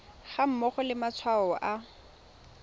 ga mmogo le matshwao a